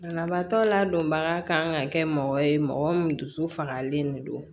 Banabaatɔ ladonbaga kan ka kɛ mɔgɔ ye mɔgɔ min du dusu fagalen de don